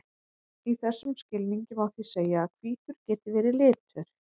í þessum skilningi má því segja að hvítur geti verið litur